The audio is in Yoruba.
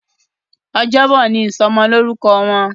Ọjọ́ Bọ̀ ní ìsomo lórúko Wón.